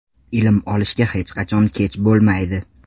Ilm olishga hech qachon kech bo‘lmaydi.